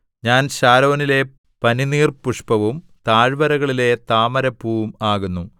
ഞാൻ ശാരോനിലെ പനിനീർപുഷ്പവും താഴ്വരകളിലെ താമരപ്പൂവും ആകുന്നു